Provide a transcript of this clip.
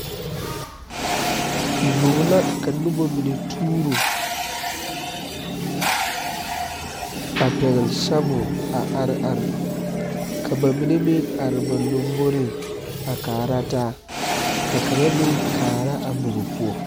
Bog la ka nuba mene tuuro a pɛgli sabol a arẽ ka ba mene meng arẽ ba lɔmboring a kaara taa ka kanga meng kaara a bog pou.